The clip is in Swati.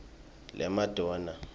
lemadonna